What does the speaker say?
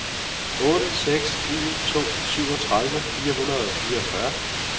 otte seks en to syvogtredive fire hundrede og fireogfyrre